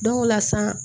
Dɔw la sa